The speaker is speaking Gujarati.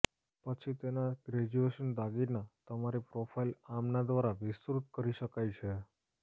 પછી તેના ગ્રેજ્યુએશન દાગીના તમારી પ્રોફાઇલ આમના દ્વારા વિસ્તૃત કરી શકાય છે